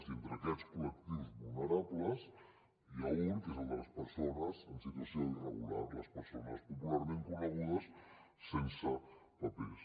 i entre aquests col·lectius vulnerables n’hi ha un què és el de les persones en situació irregular les persones popularment conegudes sense papers